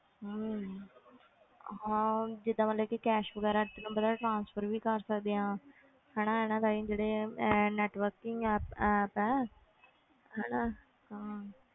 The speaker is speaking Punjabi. ਹਮ ਹਾਂ ਜਿੱਦਾਂ ਮਤਲਬ ਕਿ cash ਵਗ਼ੈਰਾ ਤੈਨੂੰ ਪਤਾ ਹੈ transfer ਵੀ ਕਰ ਸਕਦੇ ਹਾਂ ਹਨਾ ਇਹਨਾਂ ਰਾਹੀਂ ਜਿਹੜੇ ਇਹ networking app app ਹੈ ਹਨਾ ਹਾਂ